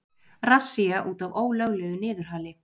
Rassía út af ólöglegu niðurhali